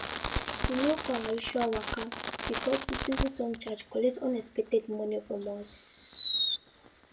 we no go our usual waka because utility surcharge collect unexpected money from us